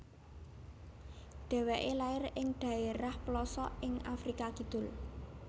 Dheweke lair ing dhaerah plosok ing Afrika Kidul